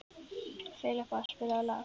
Filippa, spilaðu lag.